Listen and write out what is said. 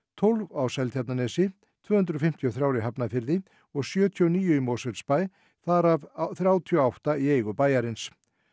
tólf á Seltjarnarnesi tvö hundruð fimmtíu og þrjú í Hafnarfirði og sjötíu og níu í Mosfellsbæ þar af þrjátíu og átta í eigu bæjarins